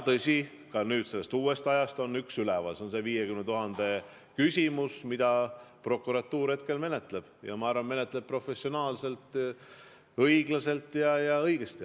Tõsi, ka uuest ajast on üks üleval, see on see 50 000 küsimus, mida prokuratuur hetkel menetleb, ja ma arvan, et menetleb professionaalselt, õiglaselt ja õigesti.